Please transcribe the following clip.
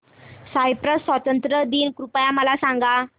Cyprus स्वातंत्र्य दिन कृपया मला सांगा